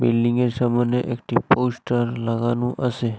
বিল্ডিংয়ের সামোনে একটি পোস্টার লাগানো আসে।